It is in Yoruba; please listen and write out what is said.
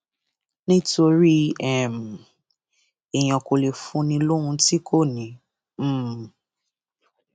nítorí um èèyàn kò lè fún ni lóhun tí kò ní um